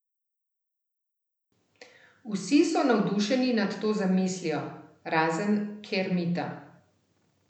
Vsi so navdušeni nad to zamislijo, razen Kermita ...